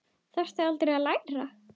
Þarftu aldrei að læra?